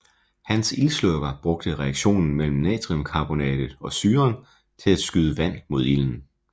Hans ildslukker brugte reaktionen mellem natriumkarbonatet og syren til at skyde vand imod ilden